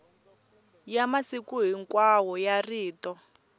ya masiku hinkwawo ya rito